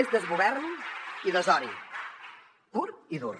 és desgovern i desori pur i dur